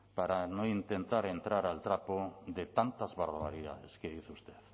para no intentar entrar al trapo de tantas barbaridades que dice usted